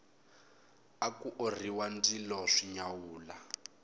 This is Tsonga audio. aku orhiwa ndzilo swi nyawula